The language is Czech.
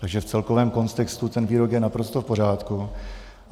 Takže v celkovém kontextu ten výrok je naprosto v pořádku.